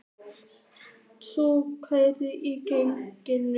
Súla, hækkaðu í græjunum.